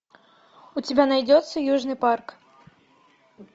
у тебя найдется южный парк